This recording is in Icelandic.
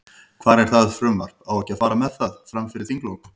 Hvar er það frumvarp, á ekki að fara með það, fram fyrir þinglok?